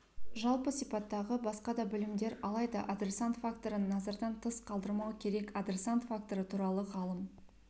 жалпы сипаттағы басқа да білімдер алайда адресант факторын назардан тыс қалдырмау керек адресант факторы туралы ғалым